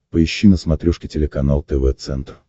поищи на смотрешке телеканал тв центр